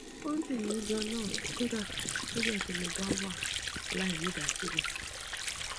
ó ń dun mi ganan kódà nígbà tí mo bá wà láìnídásílè